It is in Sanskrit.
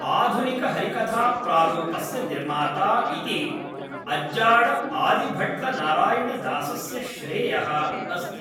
आधुनिकहरिकथाप्रारूपस्य निर्माता इति अज्जाड आदिभट्ल नारायणदासस्य श्रेयः अस्ति।